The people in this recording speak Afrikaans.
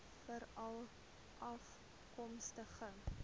veralafkomstig